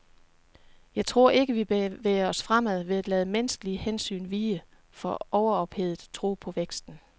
Jeg tror ikke vi bevæger os fremad ved at lade menneskelige hensyn vige for overophedet tro på væksten.